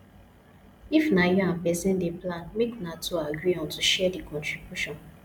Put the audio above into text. if na you and person dey plan make una two agree on to share di contribution